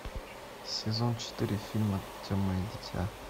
сезон четыре фильма темное дитя